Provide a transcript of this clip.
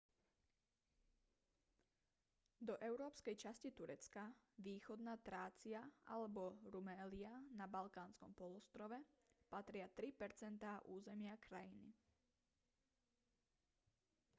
do európskej časti turecka východná trácia alebo rumélia na balkánskom polostrove patria 3 % územia krajiny